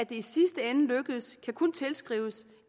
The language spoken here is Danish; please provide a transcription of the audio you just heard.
i sidste ende lykkedes kan kun tilskrives